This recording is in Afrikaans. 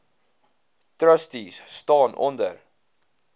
trustees staan onder